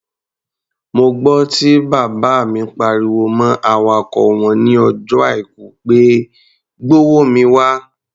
Mo gbọ́ tí bàbá mi pariwo mọ́ awakọ̀ wọn ní ọjọ́ Àìkú pé "gbówó mi wá!"